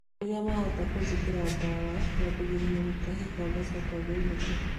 Rĩrĩa mahota kũnjekera ndawa nyambagia gũtahĩka ngacoka ngainũka